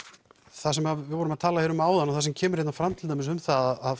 það sem við vorum að tala um hér áðan og það sem kemur hérna fram til dæmis um það að